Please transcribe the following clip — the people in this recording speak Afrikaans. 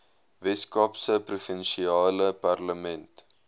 weskaapse provinsiale parlement